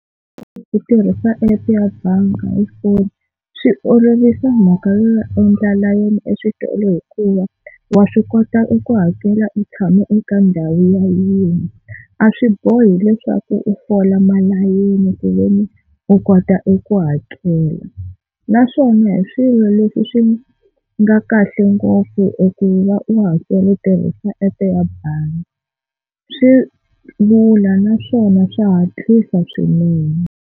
Loko u tirhisa app ya bangi hi foni swi olovisa mhaka yo ya endla layeni eswitolo hikuva wa swi kota eku hakela u tshame eka ndhawu yaliya, a swi bohi leswaku u fola malayini ku veni u kota eku hakela. Naswona hi swilo leswi swi nga kahle ngopfu eku va u hakela u tirhisa app ya bangi swi lula naswona swa hatlisa swinene.